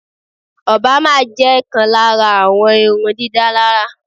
Obama jẹ́ kán lára àwọn irun dídá lára